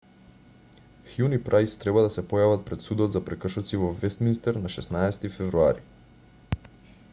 хјун и прајс треба да се појават пред судот за прекршоци во вестминстер на 16-ти февруари